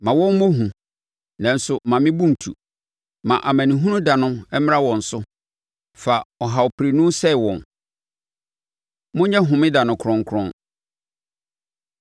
Ma wɔn a wɔtaa me anim nguase, na yi me firi ahohora mu. Ma wɔn mmɔ hu, nanso mma me bo ntu. Ma amanehunu da no mmra wɔn so; fa ɔhawprenu sɛe wɔn. Monyɛ Homeda No Kronkron